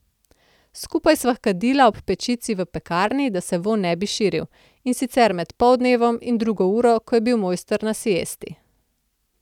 Skupaj sva kadila ob pečici v pekarni, da se vonj ne bi širil, in sicer med poldnevom in drugo uro, ko je bil mojster na siesti.